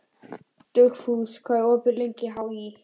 Dugfús, hvað er opið lengi í HÍ?